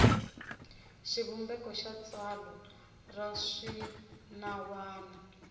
xivumbeko xa tsalwa ra swinawana